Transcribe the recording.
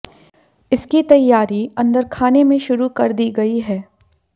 इसकी तैयारी अंदर खाने में शुरू कर दी गई है